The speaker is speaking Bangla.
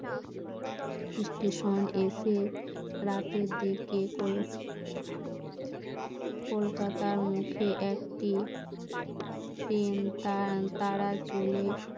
স্টেশন এসে রাতের দিকে কলকাতার মুখে একটি তারা